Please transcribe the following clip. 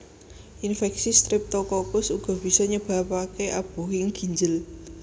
Infeksi Streptokokus uga bisa nyebabake abuhing ginjel